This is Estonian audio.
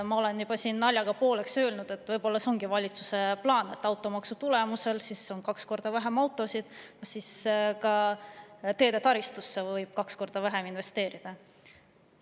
Ma olen siin juba naljaga pooleks öelnud, et võib-olla see ongi valitsuse plaan: kui automaksu tulemusel on autosid kaks korda vähem, siis võib ka teetaristusse kaks korda vähem investeerida.